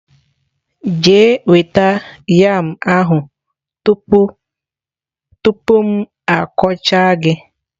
Jee nweta yam ahu tupu m akọcha gi!.